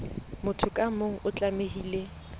motho ka mong o tlamehile